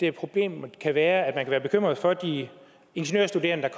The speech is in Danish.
at problemet kan være at være bekymret for at de ingeniørstuderende der